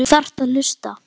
Þú þarft að hlusta.